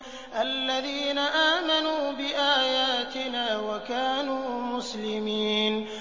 الَّذِينَ آمَنُوا بِآيَاتِنَا وَكَانُوا مُسْلِمِينَ